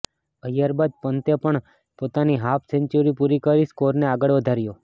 ઐય્યર બાદ પંતે પણ પોતાની હાફ સેંચુરી પૂરી કરી સ્કોરને આગળ વધાર્યો